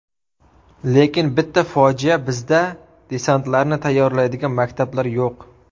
Lekin bitta fojia bizda desantlarni tayyorlaydigan maktablar yo‘q.